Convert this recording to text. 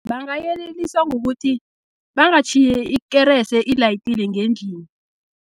Bangayeleliswa ngokuthi bangatjhiyi ikerese ilayitile ngendlini.